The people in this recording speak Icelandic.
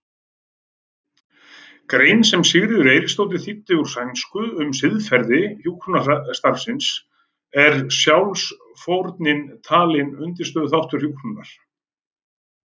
grein sem Sigríður Eiríksdóttir þýddi úr sænsku um siðfræði hjúkrunarstarfsins er sjálfsfórnin talin undirstöðuþáttur hjúkrunar.